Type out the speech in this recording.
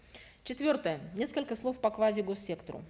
четвертое несколько слов по квазигоссектору